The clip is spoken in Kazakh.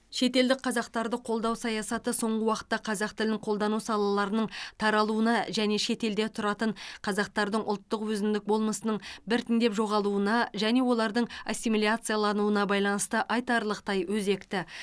шетелдік қазақтарды қолдау саясаты соңғы уақытта қазақ тілін қолдану салаларының тарылуына және шетелде тұратын қазақтардың ұлттық өзіндік болмысының біртіндеп жоғалуына және олардың ассимиляциялануына байланысты айтарлықтай өзекті